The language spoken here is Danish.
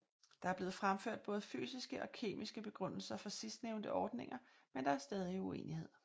Der er blevet fremført både fysiske og kemiske begrundelser for sidstnævnte ordninger men der er stadig uenighed